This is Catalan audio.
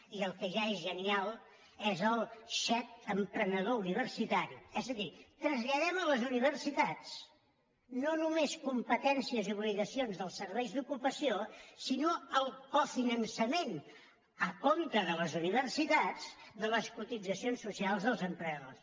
i el que ja és genial és el xec emprenedor universitari és a dir traslladem a les universitats no només competències i obligacions dels serveis d’ocupació sinó el cofinançament a compte de les universitats de les cotitzacions socials dels emprenedors